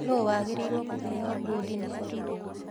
Nũũ wagĩrĩirwo nĩ kũheo bodi nĩ borithi